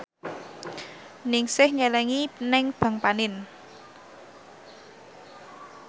Ningsih nyelengi nang bank panin